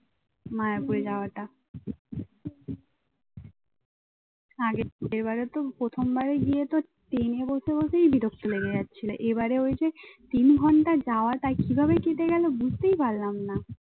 আগের বারে তো প্রথম বারে গিয়ে তো ট্রেনে বসে বসেই বিরক্ত লেগে যাচ্ছিল এবারে ওই যে তিন ঘন্টা যাওয়াটা কিভাবে কেটে গেল বুঝতেই পারলাম না।